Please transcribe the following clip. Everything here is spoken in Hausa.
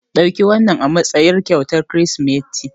Ɗauki wannan azaman kyautar Kirsimeti.